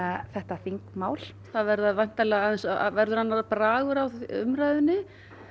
þetta þingmál það verða væntanlega aðeins verður annar bragur á umræðunni